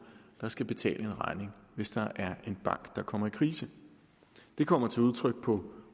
der skal betale en regning hvis der er en bank der kommer i krise det kommer til udtryk på